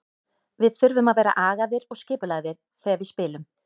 Við þurfum að vera agaðir og skipulagðir þegar við spilum.